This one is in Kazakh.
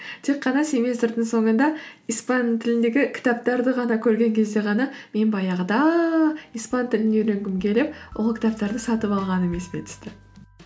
тек қана семестрдің соңында испан тіліндегі кітаптарды ғана көрген кезде ғана мен баяғыда испан тілін үйренгім келіп ол кітаптарды сатып алғаным есіме түсті